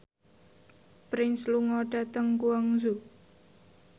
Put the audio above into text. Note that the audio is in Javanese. Prince lunga dhateng Guangzhou